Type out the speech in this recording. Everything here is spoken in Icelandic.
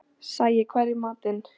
Sæi, hvað er í matinn?